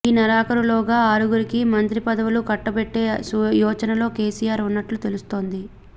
ఈ నెలాఖరులోగా ఆరుగురికి మంత్రి పదవులు కట్టబెట్టే యోచనలో కేసీఆర్ ఉన్నట్టు తెలుస్తోంది